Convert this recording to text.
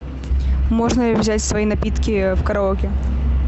можно ли взять свои напитки в караоке